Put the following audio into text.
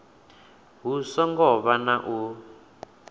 hu songo vha na u